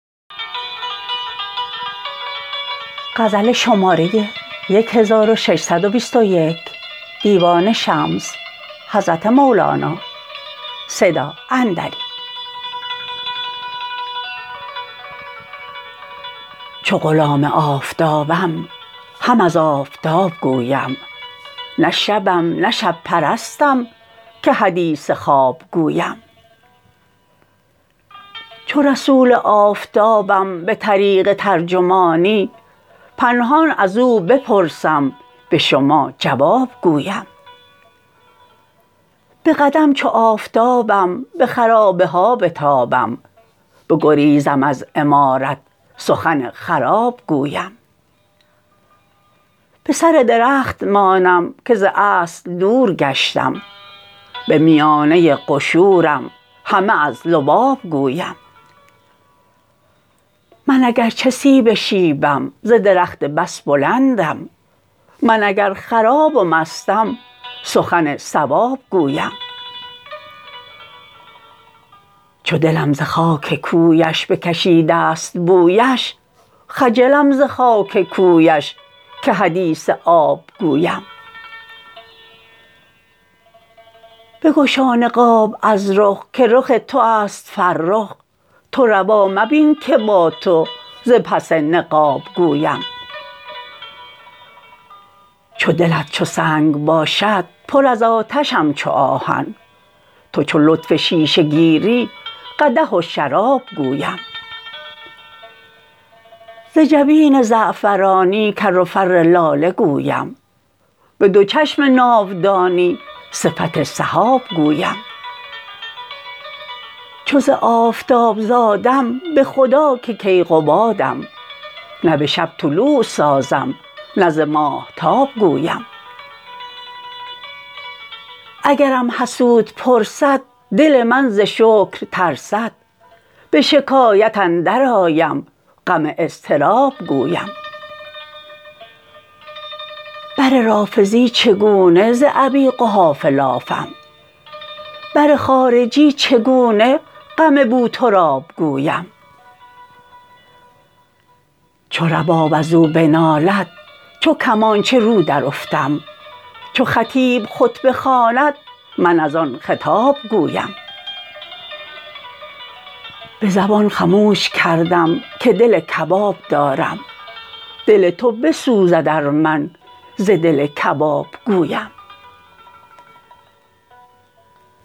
چو غلام آفتابم هم از آفتاب گویم نه شبم نه شب پرستم که حدیث خواب گویم چو رسول آفتابم به طریق ترجمانی به نهان از او بپرسم به شما جواب گویم به قدم چو آفتابم به خرابه ها بتابم بگریزم از عمارت سخن خراب گویم به سر درخت مانم که ز اصل دور گشتم به میانه قشورم همه از لباب گویم من اگر چه سیب شیبم ز درخت بس بلندم من اگر خراب و مستم سخن صواب گویم چو دلم ز خاک کویش بکشیده است بویش خجلم ز خاک کویش که حدیث آب گویم بگشا نقاب از رخ که رخ تو است فرخ تو روا مبین که با تو ز پس نقاب گویم چو دلت چو سنگ باشد پر از آتشم چو آهن تو چو لطف شیشه گیری قدح و شراب گویم ز جبین زعفرانی کر و فر لاله گویم به دو چشم ناودانی صفت سحاب گویم چو ز آفتاب زادم به خدا که کیقبادم نه به شب طلوع سازم نه ز ماهتاب گویم اگرم حسود پرسد دل من ز شکر ترسد به شکایت اندرآیم غم اضطراب گویم بر رافضی چگونه ز بنی قحافه لافم بر خارجی چگونه غم بوتراب گویم چو رباب از او بنالد چو کمانچه رو درافتم چو خطیب خطبه خواند من از آن خطاب گویم به زبان خموش کردم که دل کباب دارم دل تو بسوزد ار من ز دل کباب گویم